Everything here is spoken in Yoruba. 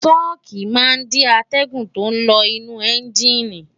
ṣọ́ọ̀kì máa ń dí atẹ́gùn tó ń lọ inú ẹ́ńjìnì